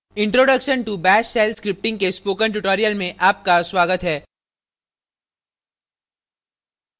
introduction to bash shell scripting के spoken tutorial में आपका स्वागत है